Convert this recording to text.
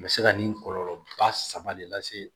A bɛ se ka nin kɔlɔlɔ ba saba de lase